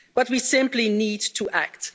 But we simply need to act